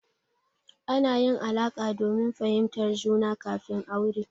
Ana yin alaƙa domin fahimtar juna kafin aure.